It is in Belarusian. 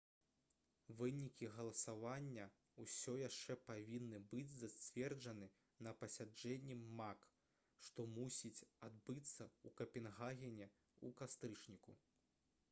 вынікі галасавання ўсё яшчэ павінны быць зацверджаны на пасяджэнні мак што мусіць адбыцца ў капенгагене ў кастрычніку